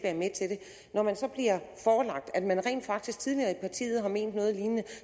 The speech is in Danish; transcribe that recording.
når man så bliver forelagt at man rent faktisk tidligere i partiet har ment noget lignende